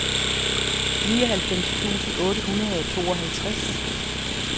nioghalvfjerds tusind otte hundrede og tooghalvtreds